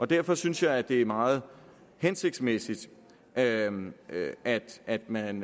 derfor synes jeg at det er meget hensigtsmæssigt at man at man